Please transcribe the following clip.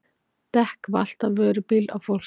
Dekk valt af vörubíl á fólksbíl